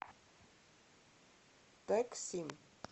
тэксим